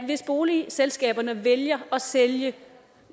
hvis boligselskaberne vælger at sælge